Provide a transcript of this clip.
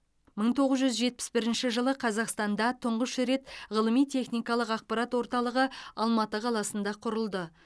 мың тоғыз жүз жетпіс бірінші жылы қазақстанда тұңғыш рет ғылыми техникалық ақпарат орталығы алматы қаласында құрылды